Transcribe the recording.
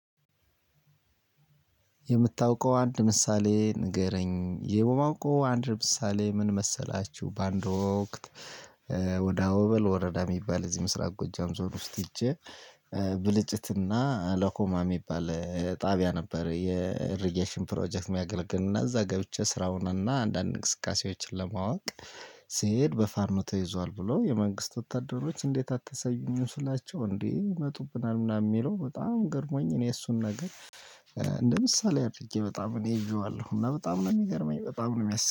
የምታውቀው አንድ ምሳሌ ንገረኝ ይሄ በማውቀው አንድ ምሳሌ ምን መሰላችሁ በአንድ ወቅት። ወደ አወበል ወረዳ የሚባል እዚህ ምስራቅ ጎጃም ዞን ውስጥ ሄጄ ብልጭት እና ለኮማ የሚባል ጣብያ ነበር የኢሪጌሽን ፕሮጀክት የሚያገለግል እና እዛ ገብቼ ስራውን እና አንዳንድ እንቅስቃሴዎች ለማወቅ። ስሄድ በፋኖ ተይዞአል ብሎ የመንግስት ወታደሮች እንዴት አታሳዩኝም ስላቸው እንዴት ይመጡብናል ምናምን የሚለው በጣም ገርሞኝ እኔ የእሱን ነገር። እንደ ምሳሌ አድርጌ በጣም እሄ ይዤዋለሁ እና በጣም ነው የሚገርመኝ። በጣም ነው የሚያስ